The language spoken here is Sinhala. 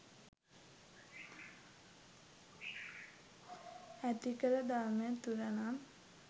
ඇතිකල ධර්මය තුළ නම්